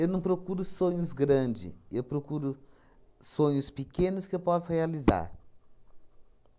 Eu não procuro sonhos grande, eu procuro sonhos pequenos que eu possa realizar.